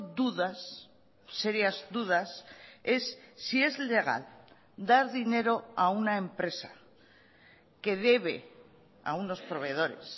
dudas serias dudas es si es legal dar dinero a una empresa que debe a unos proveedores